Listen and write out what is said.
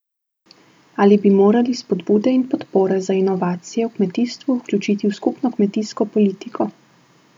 Ali bi morali spodbude in podpore za inovacije v kmetijstvu vključiti v skupno kmetijsko politiko?